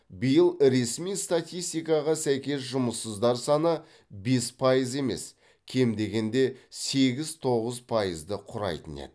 биыл ресми статистикаға сәйкес жұмыссыздар саны бес пайыз емес кем дегенде сегіз тоғыз пайызды құрайтын еді